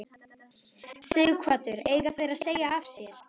Sighvatur: Eiga þeir að segja af sér?